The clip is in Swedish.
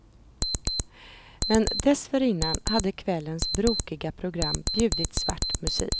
Men dessförinnan hade kvällens brokiga program bjudit svart musik.